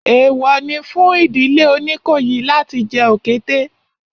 Èèwọ̀ ni fún ìdílé Oníkòyí láti jẹ òkété